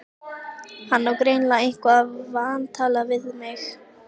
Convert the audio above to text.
Hann á greinilega eitthvað vantalað við mig.